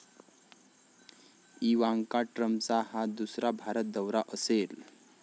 Ivanka ट्रम्पचा हा दुसरा भारत दौरा असेल.